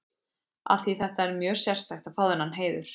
Því að þetta er mjög sérstakt að fá þennan heiður.